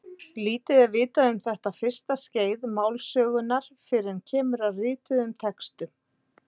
Lítið er vitað um þetta fyrsta skeið málsögunnar fyrr en kemur að rituðum textum.